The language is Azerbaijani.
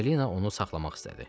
Emmelina onu saxlamaq istədi.